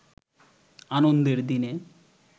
আনন্দের দিনে